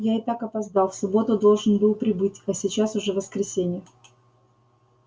я и так опоздал в субботу должен был прибыть а сейчас уже воскресенье